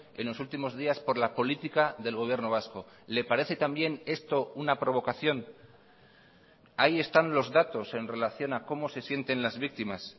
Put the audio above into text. en los últimos días por la política del gobierno vasco le parece también esto una provocación ahí están los datos en relación a cómo se sienten las víctimas